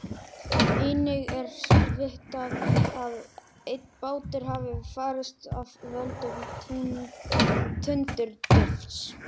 Einnig er vitað að einn bátur hafi farist af völdum tundurdufls.